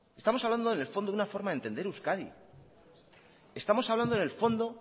estamos hablando en el fondo de una forma de entender euskadi estamos hablando en el fondo